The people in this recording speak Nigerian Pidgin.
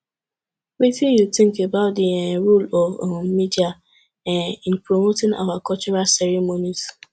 wetin you think about di um role of um media um in promoting our cultural ceremonies